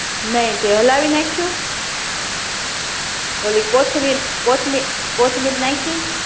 નહિ તે હલાવી નાખ્યું ઓલી કોથમીર કોથમી કોથમીર નાય્ખી